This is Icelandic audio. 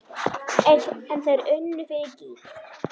En þeir unnu fyrir gýg.